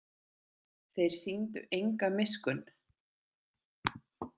Þeir sýndu enga miskunn.